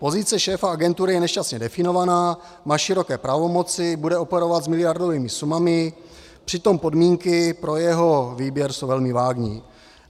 Pozice šéfa agentury je nešťastně definovaná, má široké pravomoci, bude operovat s miliardovými sumami, přitom podmínky pro jeho výběr jsou velmi vágní.